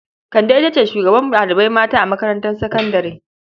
Kande ita ce shugabar ɗalibai mata a makarantar sakandare.